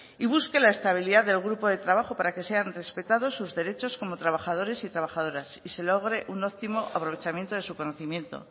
y busque la estabilidad del grupo de trabajo para que sean respetados sus derechos como trabajadores y trabajadoras y se logre un óptimo aprovechamiento de su conocimiento